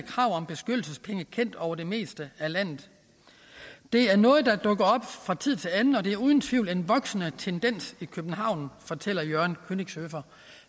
kendt over det meste af landet det er noget der dukker op fra tid til anden og det er uden tvivl en voksende tendens i københavn fortæller jørgen kønigshøfer